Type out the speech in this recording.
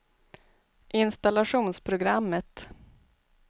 installationsprogrammet